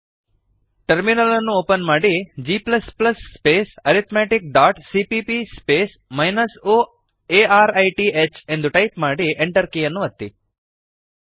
terminal ಅನ್ನು open ಮಾಡಿ g space arithmeticಸಿಪಿಪಿ space -o arith G space arithmetic dot CPP space minus O A R I T H ಎಂದು type ಮಾಡಿ Enter ಕೀಯನ್ನು ಒತ್ತಿ